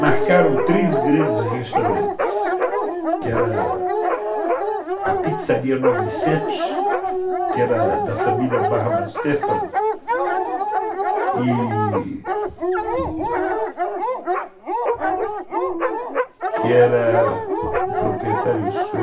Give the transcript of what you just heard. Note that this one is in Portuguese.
Marcaram três grandes restaurantes, que era a Pizzaria Novecentos, que era da família Barba Stefano, que que era o proprietário, o senhor...